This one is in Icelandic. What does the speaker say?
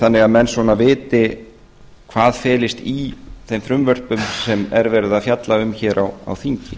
þannig að menn svona viti hvað felist í þeim frumvörpum sem er verið að fjalla um hér á þingi